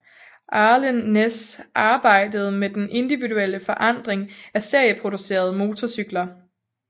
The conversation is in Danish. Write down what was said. Arlen Ness arbejdede med den individuelle forandring af serieproducerede motorcykler